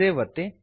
save ಒತ್ತಿ